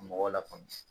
Mɔgɔw lafaamuya